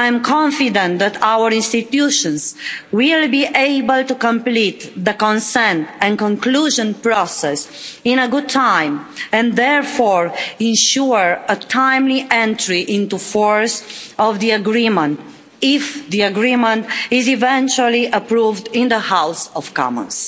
I am confident that our institutions will be able to complete the consent and conclusion process in a good time and therefore ensure a timely entry into force of the agreement, if the agreement is eventually approved in the House of Commons.